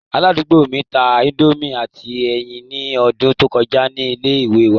Aladugbo mi ta indomie ati ẹyin ni ọdun to kọja ni ile-iwe wa